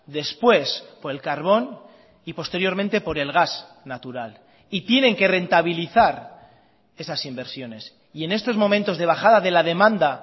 después por el carbón y posteriormente por el gas natural y tienen que rentabilizar esas inversiones y en estos momentos de bajada de la demanda